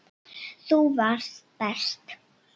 Þú varst best.